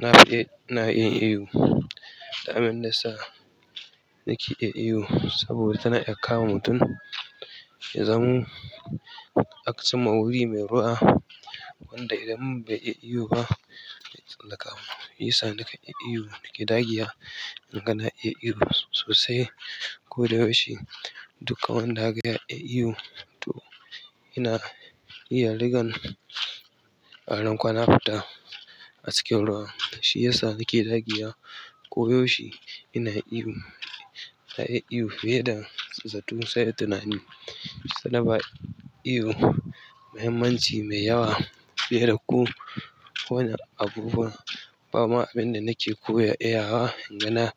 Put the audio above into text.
Na fi iya ina iya iyo. Dan abin da sa nake iya iyo saboda tana iya kama mutum ya zama aka cimma wuri mai ruwa wanda idan bai iya iyo ba, zai tsallaka mu. Yi sa nake iya iyo, nake ɗagiya inga na iya iyo sosai ko da yaushe. Duka wanda akaga yana iya iyo to yana iya rigan aron kwanan fata a cikin ruwa. Shiyasa nake dagewa ko yaushe ina iyo na iya iyo fiye da zato sai tunani. Ta na ba iyo muhimmanci mai yawa fiye da ko wane abubuwa. Bama abin da nake koya iya wa inga